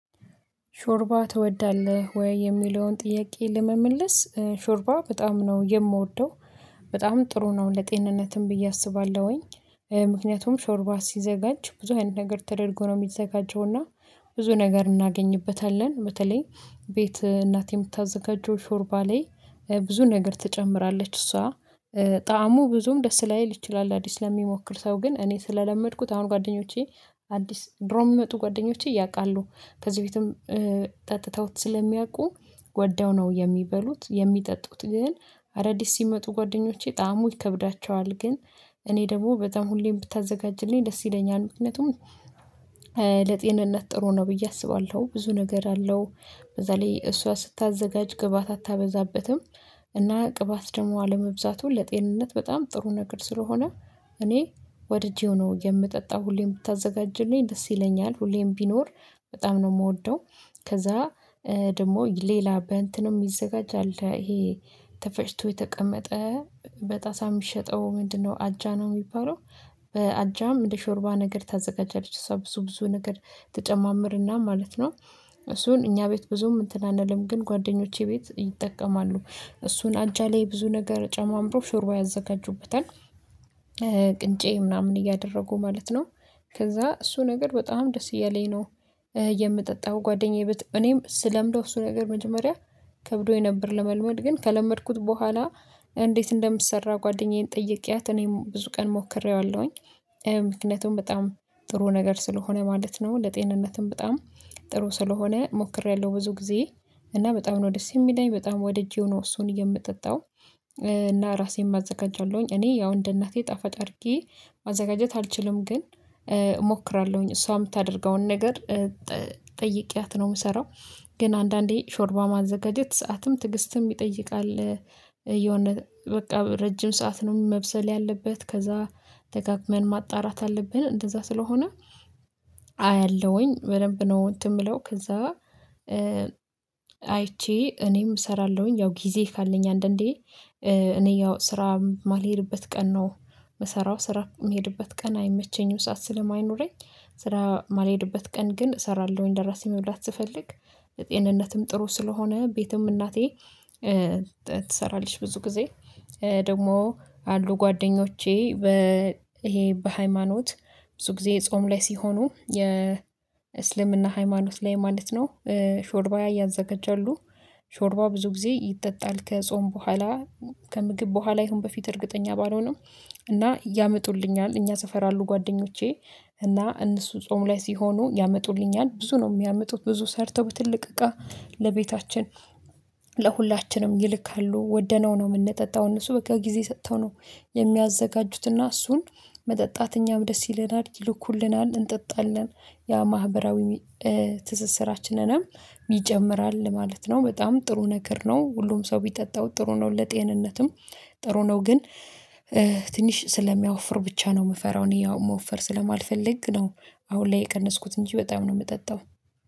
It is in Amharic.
ሾርባ ትወዳለህ? ወይ የሚለውን ጥያቄ ለመመለስ ሾርባ በጣም ነው የምወደው በጣም ጥሩ ነው ለጤንነትም ብዬ አስባለሁኝ። ምክንያቱም ሾርባ ሲዘጋጅ ብዙ አይነት ነገር ተደርጎ ነው የሚዘጋጀው እና ብዙ ነገር እናገኝበታለን። በተለይ ቤት እናቴ የምታዘጋጀው ሾርባ ላይ ብዙ ነገር ትጨምራለች እሷ። ጣዕሙ ብዙም ደስ ላይ ሊችል አዲስ ለሚሞክር ሰው ግን እኔ ስለለመድኩት አሁን ጓደኞቼ አዲስ ድሮ የምጡ ጓደኞቼ ያውቃሉ። ከዚህ በፊትም ጠጥተውት ስለሚያውቁ ወደው ነው የሚበሉት የሚጠጡት። ግን አዳዲስ ሲመጡ ጓደኞቼ ጣዕሙ ይከብዳቸዋል። ግን እኔ ደግሞ በጣም ሁሌም ብታዘጋጅልኝ ደስ ይለኛል። ምክንያቱም ለጤንነት ጥሩ ነው ብዬ አስባለሁ ብዙ ነገር አለው። በዛ ላይ እሷ ስታዘጋጅ ግበዓት አታበዛበትም። እና ቅባት ደግሞ አለመብዛቱን ለጤንነት በጣም ጥሩ ነገር ስለሆነ እኔ ወድጄው ነው የምጠጣው። ሁሌም ብታዘጋጅልኝ ደስ ይለኛል ሁሌም ቢኖር በጣም ነው የምወደው። ከዛ ደግሞ ሌላ በእንትንም ይዘጋጃል ይሄ ተፈጭቶ የተቀመጠ በጣሳ የሚሸጠው ምንድነው? አጃ ነው የሚባለው። በአጃም እንደ ሾርባ ነገር ተዘጋጃለች እሷ ብዙ ብዙ ነገር ተጨማምርና ማለት ነው። እሱን እኛ ቤት ብዙም እንትን አንልም ግን ጓደኞቼ ቤት ይጠቀማሉ። እሱን አጃ ላይ ብዙ ነገር ጨማምሮ ሾርባ ያዘጋጁበታል። ቅንጬ ምናምን እያደረጉ ማለት ነው። ከዛ እሱ ነገር በጣም ደስ እያለኝ ነው። የምጠጣው ጓደኛዬ ብት እኔም ስለምደው እሱ ነገር መጀመሪያ ከብዶኝ ነበር ለመልመድ ግን ከለመድኩት በኋላ እንዴት እንደምሰራ ጓደኛዬን ጠይቄያት እኔም ብዙ ቀን ሞክሬዋለሁኝ። ምክንያቱም በጣም ጥሩ ነገር ስለሆነ ማለት ነው። ለጤንነትም በጣም ጥሩ ስለሆነ ሞክሬያለሁ ብዙ ጊዜ እና በጣም ነው ደስ የሚለኝ በጣም ወደ እጄ ሆኖ እሱን የምጠጣው። እና ራሴም አዘጋጃለውኝ እኔ ያው እንደ እናቴ ጠፋጭ አድርጌ ማዘጋጀት አልችልም ግን። እሞክራለሁኝ እሷ የምታደርገውን ነገር ጠይቄያት ነው የምሰራው። ግን አንዳንዴ ሾርባ ማዘጋጀት ሰዓትም ትግስትም ይጠይቃል። የሆነ በቃ ረጅም ሰዓት ነው መብሰል ያለበት ከዛ ተጋግመን ማጣራት አለብን እንደዛ ስለሆነ። አያለሁኝ በደንብ ነው እንትን የምለው ከዛ። አይቼ እኔም እሰራለሁኝ ያው ጊዜ ካለኝ አንዳንዴ እኔ ያው ስራ የማልሄድበት ቀን ነው። የምሰራው ስራ የምሄድበት ቀን አይመቸኝም ሰዓት ስለማይኖረኝ። ስራ የማልሄድበት ቀን ግን እሰራለሁኝ ደራሲ መብላት ስፈልግ። የጤንነትም ጥሩ ስለሆነ ቤትም እናቴ ትሰራለች ብዙ ጊዜ። ደግሞ አሉ ጓደኞቼ በ ይሄ በሃይማኖት ብዙ ጊዜ ጾም ላይ ሲሆኑ የእስልምና ሃይማኖት ላይ ማለት ነው። ሾርባ እያዘጋጃሉ። ሾርባው ብዙ ጊዜ ይጠጣል ከጾም በኋላ። ከምግብ በኋላ ይሁን በፊት እርግጠኛ ባልሆነም። እና ያመጡልኛል እኛ ሰፈር አሉ ጓደኞቼ። እና እነሱ ጾም ላይ ሲሆኑ ያመጡልኛል ብዙ ነው የሚያመጡት ብዙ ሰርተው በትልቅ እቃ ለቤታችን ለሁላችንም ይልካሉ። ወደነው ነው የምንጠጣው እነሱ በቃ ጊዜ ሰጥተው ነው። የሚያዘጋጁትና እሱን መጠጣት እኛም ደስ ይለናል ይልኩልናል እንጠጣለን። ያ ማህበራዊ ትስስራችንንም ይጨምራል ማለት ነው። በጣም ጥሩ ነገር ነው። ሁሉም ሰው ቢጠጣው ጥሩ ነው። ለጤንነትም ጥሩ ነው ግን ትንሽ ስለሚያወፍር ብቻ ነው። የምፈራው እኔ ያው መወፈር ስለማልፈልግ ነው። አሁን ላይ የቀነስኩት እንጂ በጣም ነው የምጠጣው።